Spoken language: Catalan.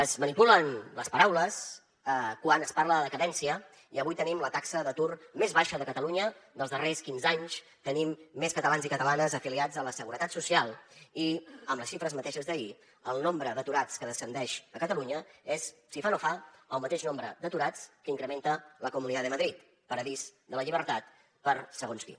es manipulen les paraules quan es parla de decadència i avui tenim la taxa d’atur més baixa de catalunya dels darrers quinze anys tenim més catalans i catalanes afiliats a la seguretat social i amb les xifres mateixes d’ahir el nombre d’aturats que descendeix a catalunya és si fa no fa el mateix nombre d’aturats que incrementa la comunidad de madrid paradís de la llibertat per a segons qui